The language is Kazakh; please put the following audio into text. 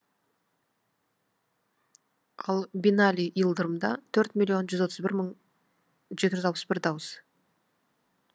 ал бинали и ылдырымда төрт миллион жүз отыз бір мың жеті жүз алпыс бір дауыс